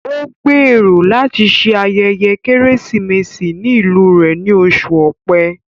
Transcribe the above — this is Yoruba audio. Ó gbèrò láti se ayẹyẹ Kérésìmesì ní ìlú rẹ ní oṣù Ọ̀pẹ